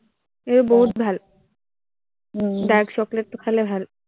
এৰ বহুত ভাল উম dark chocolate টো খালে ভাল